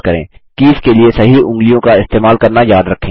keys के लिए सही उँगलियों का इस्तेमाल करना याद रखें